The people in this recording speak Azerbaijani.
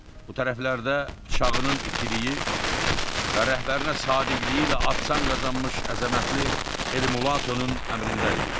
Bu tərəflərdə bıçağının itiliyi və rəhbərinə sədaqəti ilə ad-san qazanmış əzəmətli Elmulatonun əmrində idilər.